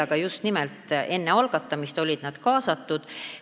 Aga just nimelt enne algatamist olid nad kaasatud.